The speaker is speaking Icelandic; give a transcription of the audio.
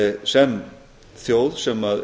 sem þjóð sem